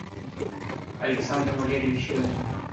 александр валерьевич рюмин